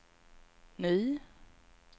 ny